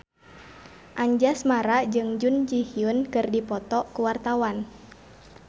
Anjasmara jeung Jun Ji Hyun keur dipoto ku wartawan